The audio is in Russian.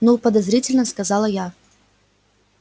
ну подозрительно сказала я